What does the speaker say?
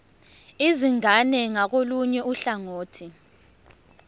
izingane ngakolunye uhlangothi